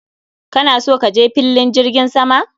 Kana so kaje fillin jirgin sama?